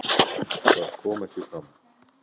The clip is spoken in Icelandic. Það kom ekki fram.